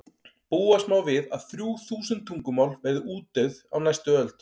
búast má við að þrjú þúsund tungumál verði útdauð á næstu öld